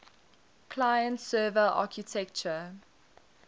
client server architecture